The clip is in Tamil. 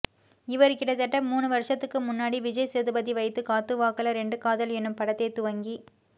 இவரு கிட்டத்தட்ட மூனு வருசத்துக்கு முன்னாடி விஜய் சேதுபதி வைத்து காத்துவாக்குல ரெண்டு காதல் எனும் படத்தை துவங்கி